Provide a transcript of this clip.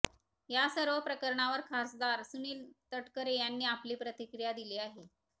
या सर्व प्रकरणावर खासदार सुनील तटकरे यांनी आपली प्रतिक्रीया दिली आहे